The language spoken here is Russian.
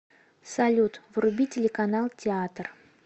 салют вруби телеканал театр